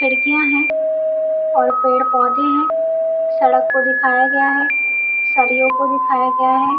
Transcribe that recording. खिड़कियाँ हैं और पेड़-पौधे हैं सड़क पर दिखाया गया है सरियों को दिखाया गया है ।